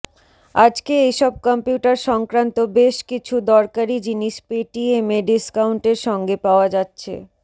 আজকে এই সব কম্পিউটার সংক্রান্ত বেশ কিছু দরকারি জিনিস পেটিএমে ডিস্কাউন্টের সঙ্গে পাওয়া যাচ্ছে